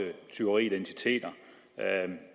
tyverier af identiteter